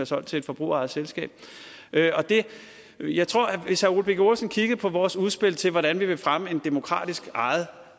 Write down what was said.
solgt til et forbrugerejet selskab jeg tror at hvis herre ole birk olesen kiggede på vores udspil til hvordan vi vil fremme en demokratisk ejet